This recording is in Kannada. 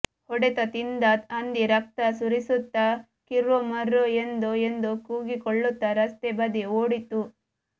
ಹೊಡೆತ ತಿಂದ ಹಂದಿ ರಕ್ತ ಸುರಿಸುತ್ತಾ ಕಿರ್ರೋ ಮರ್ರೋ ಎಂದು ಎಂದು ಕೂಗಿಕೊಳ್ಳುತ್ತಾ ರಸ್ತೆ ಬದಿ ಓಡಿತು